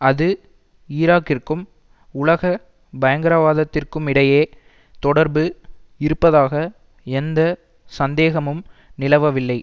அது ஈராக்கிற்கும் உலக பயங்கரவாதத்திற்குமிடையே தொடர்பு இருப்பதாக எந்த சந்தேகமும் நிலவவில்லை